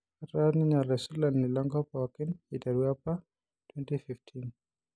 Etaa ninye olaisulani lenkoop pookin iteru apa 2015.